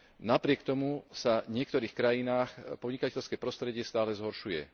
Napriek tomu sa v niektorých krajinách podnikateľské prostredie stále zhoršuje.